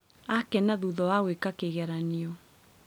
Akena thutha wa gwĩka kĩgeranio